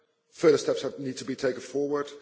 further steps need to be taken forward.